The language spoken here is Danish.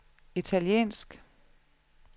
italiensk